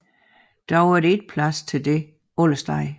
Dog er der ikke plads til dette alle steder